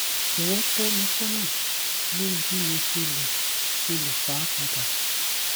jọwọ tọ mi sọnà lórí bí mo ṣe lè ṣe lè fà á padà